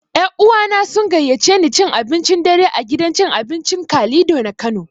Ƴa uwana sun gayyaci ne cin abincin dare a gidan cin abincin Kalido na Kano.